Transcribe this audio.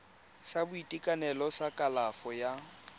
sa boitekanelo sa kalafo ya